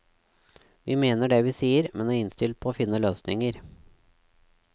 Vi mener det vi sier, men er innstilt på å finne løsninger.